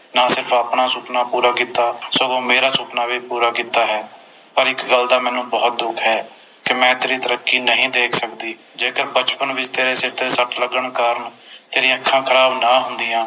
ਨਾਲੇ ਤੂੰ ਆਪਣਾ ਸੁਪਨਾ ਪੂਰਾ ਕੀਤਾ ਸਗੋਂ ਮੇਰਾ ਸੁਪਨਾ ਵੀ ਪੂਰਾ ਕੀਤਾ ਹੈ ਪਰ ਇਕ ਗੱਲ ਦਾ ਮੈਨੂੰ ਬੋਹੋਤ ਦੁੱਖ ਹੈ ਕਿ ਮੈਂ ਤੇਰੀ ਤਰੱਕੀ ਨਹੀਂ ਦੇਖ ਸਕਦੀ ਜੇਕਰ ਬਚਪਨ ਵਿਚ ਤੇਰੇ ਸਿਰ ਤੇ ਸੱਟ ਲੱਗਣ ਕਾਰਣ ਤੇਰੀ ਅੱਖਾਂ ਖਰਾਬ ਨਾ ਹੁੰਦੀਆਂ